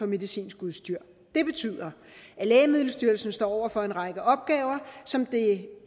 medicinsk udstyr det betyder at lægemiddelstyrelsen står over for en række opgaver som det